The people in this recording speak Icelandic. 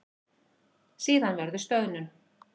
Síðan verður stöðnun.